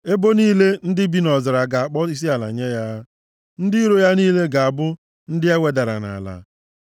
Ebo niile ndị bi nʼọzara ga-akpọ isiala nye ya, ndị iro ya niile ga-abụ ndị e wedara nʼala.